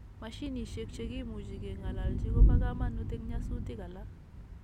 Mashinishek chegimuche keng'alalji koba kamanut en nyasutik alak